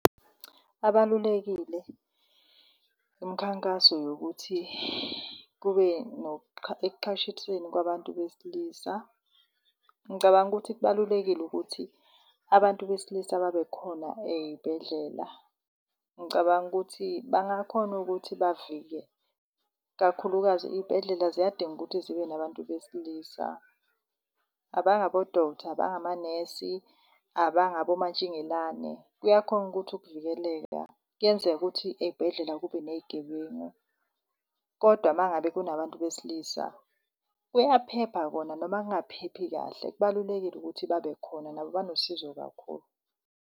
abalulekile imikhankaso yokuthi kube kwabantu besilisa, ngicabanga ukuthi kubalulekile ukuthi abantu besilisa babekhona ey'bhedlela. Ngicabanga ukuthi bangakhona ukuthi bavike, kakhulukazi iy'bhedlela ziyadinga ukuthi zibe nabantu besilisa abangobodoktha, abangamanesi, abangabomantshingelane. Kuyakhona ukuthi kuvikeleka. Kuyenzeka ukuthi ey'bhedlela kube ney'gebengu, kodwa mangabe kunabantu besilisa kuyaphepha kona noma kungaphephi kahle. Kubalulekile ukuthi babekhona nabo banosizo kakhulu.